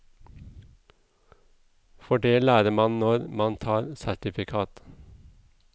For det lærer man når man tar sertifikat.